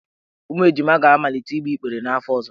Ụmụ ejima ga-amalite igbe igber n'afọ ọzọ.